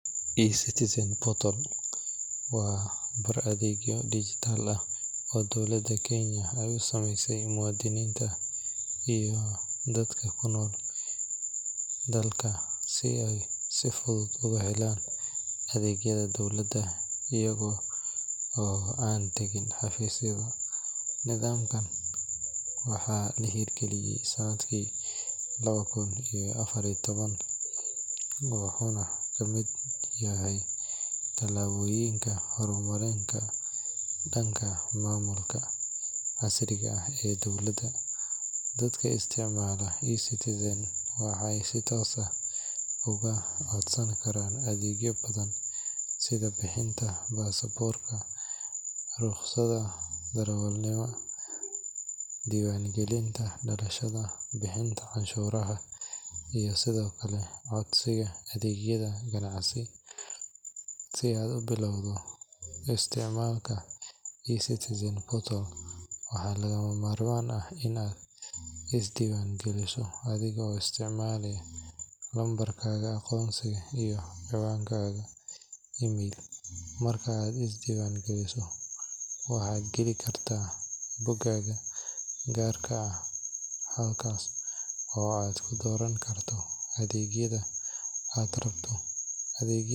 eCitizen portal waa bar adeegyo dhijitaal ah oo dowladda Kenya ay u sameysay muwaadiniinta iyo dadka ku nool dalka si ay si fudud ugu helaan adeegyada dowladda iyaga oo aan tagin xafiisyada. Nidaamkan waxaa la hirgeliyay sanadkii laba kun iyo afar iyo toban, wuxuuna ka mid yahay tallaabooyinka horumarka dhanka maamulka casriga ah ee dowladda. Dadka isticmaala eCitizen waxay si toos ah uga codsan karaan adeegyo badan sida bixinta baasaboorka, rukhsadda darawalnimada, diiwaangelinta dhalashada, bixinta canshuuraha, iyo sidoo kale codsiga adeegyada ganacsi. Si aad u bilowdo isticmaalka eCitizen portal, waxaa lagama maarmaan ah in aad iska diiwaangeliso adiga oo isticmaalaya lambarkaaga aqoonsiga iyo ciwaankaaga email. Marka aad is diiwaangeliso, waxaad geli kartaa boggaaga gaarka ah halkaas oo aad ku dooran karto adeegyada aad rabto.